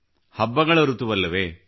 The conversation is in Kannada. ಹಬ್ಬಗಳಋತುವಲ್ಲವೇ